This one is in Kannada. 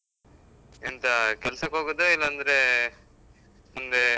ಎಂತ ಕೆಲ್ಸಕ್ಕ್ ಹೋಗುದಾ ಇಲ್ಲಾಂದ್ರೇ, ಮುಂದೇ?